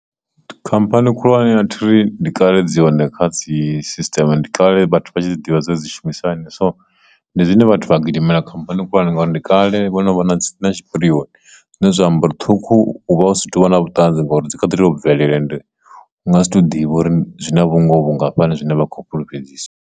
Khamphani khulwane ya thiri ndi kale dzi yone kha dzi sisteme ndi kale vhathu vha tshi dzi ḓivha dzine dzi shumisani, so ndi zwine vhathu vha gidimela khamphani khulwane ngauri ndi kale vho no vha na dzi na tshipirioni zwine zwa amba uri ṱhukhu uvha usa tovha na vhuṱanzi ngauri dzi kha ḓi tovha bvelela ende u nga si to ḓivha uri zwina vhungoho vhungafhani zwine vha khou fhulufhedzisa.